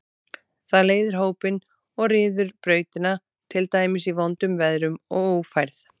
Það leiðir hópinn og ryður brautina, til dæmis í vondum veðrum og ófærð.